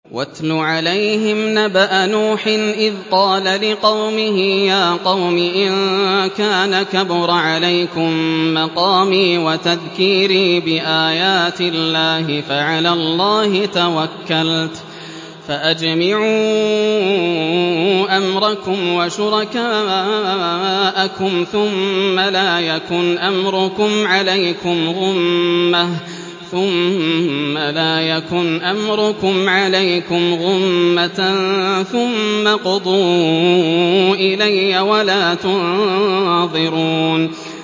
۞ وَاتْلُ عَلَيْهِمْ نَبَأَ نُوحٍ إِذْ قَالَ لِقَوْمِهِ يَا قَوْمِ إِن كَانَ كَبُرَ عَلَيْكُم مَّقَامِي وَتَذْكِيرِي بِآيَاتِ اللَّهِ فَعَلَى اللَّهِ تَوَكَّلْتُ فَأَجْمِعُوا أَمْرَكُمْ وَشُرَكَاءَكُمْ ثُمَّ لَا يَكُنْ أَمْرُكُمْ عَلَيْكُمْ غُمَّةً ثُمَّ اقْضُوا إِلَيَّ وَلَا تُنظِرُونِ